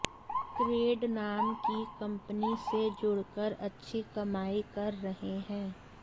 crate नाम की company से जुड़कर अच्छी कमाई कर रहे हैं